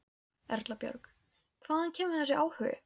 Erla Björg: Hvaðan kemur þessi áhugi?